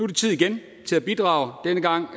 det tid igen til at bidrage denne gang